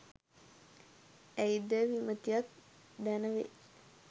ඇයි දැයි විමතියක් දැන වේ.